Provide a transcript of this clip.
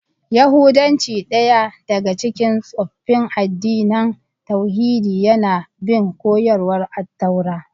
Yahudanci, daya daga cikin tsoffin addinan tauhidi, yana bin koyarwar Attaura.